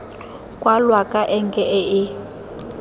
kwalwa ka enke e e